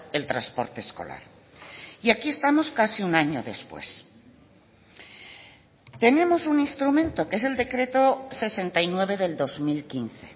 el transporte escolar y aquí estamos casi un año después tenemos un instrumento que es el decreto sesenta y nueve del dos mil quince